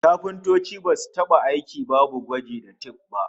Kafintoci basu taba aiki babu gwaji ta tif ba